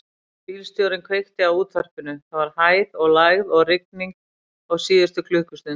Bílstjórinn kveikti á útvarpinu: það var hæð og lægð og rigning á síðustu klukkustund.